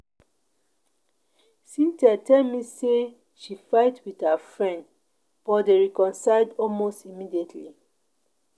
Cynthia tell me say she fight with her friend but dey reconcile almost immediately